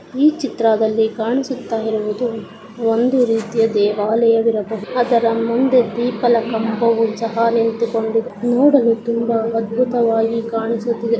ಈ ಚಿತ್ರದಲ್ಲಿ ಕಾಣಿಸುತ್ತಿರುಹುದು ಒಂದು ರೀತಿಯ ದೇವಾಲಯ ಇರಬಹು. ಅದರ ಮುಂದೆ ದೀಪಲ ಖಾಂಬೊಚಲ ನಿಂತಿಕೊಂಡ್. ನೋಡಲು ತುಂಬಾ ಅದ್ಭುತವಾಗಿ ಕಾಣಿಸುತ್ತಿದೆ.